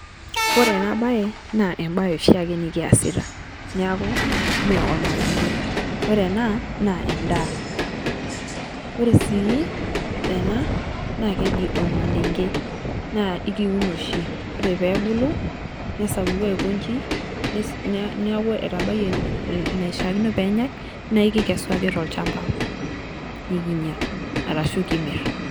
Ore ena baye na ebaye osiake nikiasita naaku mee olmaareng'e, ore ena naa endaa. Ore sii ena naa kejii olmaleng'e naa keunoo shii ore pee ibuluu nesapuku aikojii. Naaku etabaiye naishakino pee enyai naa kikesuaki te lchaamba nikinyaa arashu kimiir.